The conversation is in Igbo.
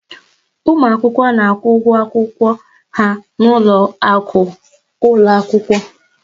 Ụmụ akwụkwọ na-akwụ ụgwọ akwụkwọ ha n'ụlọ akụ ụlọ akwụkwọ.